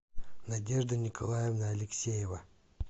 надежда николаевна алексеева